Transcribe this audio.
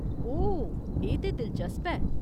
ओह्, एह् ते दिलचस्प ऐ।